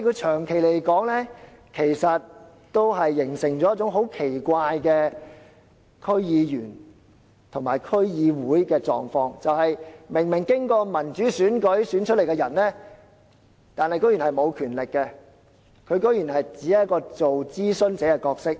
長遠而言，這做法形成了一種很奇怪的區議員和區議會的狀況，就是由民主選舉選出的人竟然是沒有權力的，竟然只是擔當一個諮詢角色。